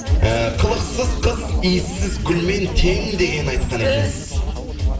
ііі қылықсыз қыз иіссіз гүлмен тең деген айтқан екенсіз